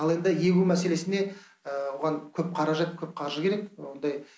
ал енді егу мәселесіне оған көп қаражат көп қаржы керек ондай